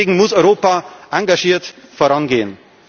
Deswegen muss Europa engagiert vorangehen.